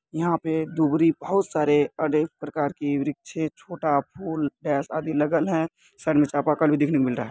यहां पर दुवरी बोहोत सारे अनेक प्रकार के वृक्ष है। छोटा फूल आदि लागल हैं। सामने में चापा कल देखने को मिल रहा है ।